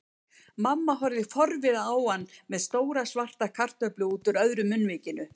Mamma horfði forviða á hann með stóra franska kartöflu útúr öðru munnvikinu.